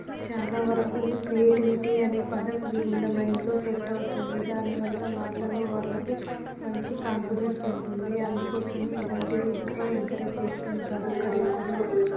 చాలావరకు క్రియేటివిటీ అనే పదం వీళ్ళ మైండ్ లో సెట్ అవుతుంది దానివల్ల వాళ్లలో వాళ్లకు మంచి కాన్ఫిడెన్స్ ఉంటుంది అందుకోసమే ఇలాంటివి ఎక్కువగా ఎంకరేజ్ చేస్తుంటారు ఇక్కడి స్కూల్లో--